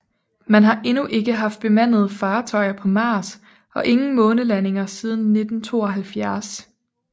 Man har endnu ikke haft bemandede fartøjer på Mars og ingen månelandinger siden 1972